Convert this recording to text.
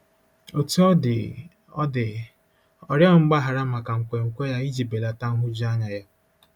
Otú ọ dị, ọ dị, ọ rịọghị mgbaghara maka nkwenkwe ya iji belata nhụjuanya ya.